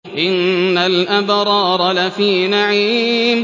إِنَّ الْأَبْرَارَ لَفِي نَعِيمٍ